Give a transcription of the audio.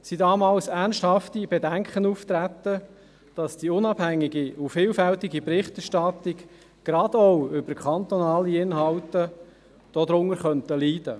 Es traten damals ernsthafte Bedenken auf, dass die unabhängige und vielfältige Berichterstattung, gerade auch über kantonale Inhalte, darunter leiden könnte.